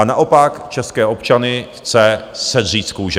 A naopak české občany chce sedřít z kůže.